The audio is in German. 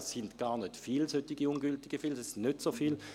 Es sind gar nicht so viele ungültige Stimmen, es sind nicht so viele.